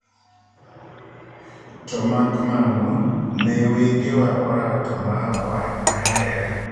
To mak mano ne wengewa orato ma ahere.